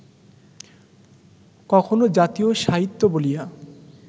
কখনও ‘জাতীয় সাহিত্য’ বলিয়া